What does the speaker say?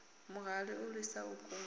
muhali u lwisa u kunda